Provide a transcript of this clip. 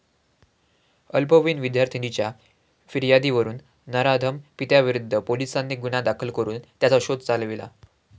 अल्पवयीन विद्यार्थिनीच्या फियार्दीवरून नराधम पित्याविरुद्ध पोलिसांनी गुन्हा दाखल करून त्याचा शोध चालविला.